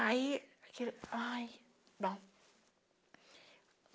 Aí, aquele... Ai, bom.